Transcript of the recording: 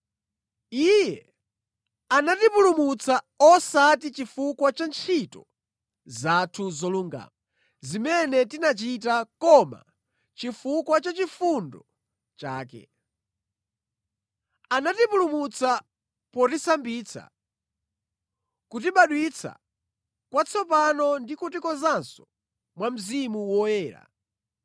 Iye anatipulumutsa, osati chifukwa cha ntchito zathu zolungama zimene tinachita koma chifukwa cha chifundo chake. Anatipulumutsa potisambitsa, kutibadwitsa kwatsopano ndi kutikonzanso mwa Mzimu Woyera